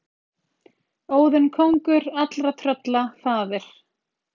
Óðinn kóngur allra trölla faðir.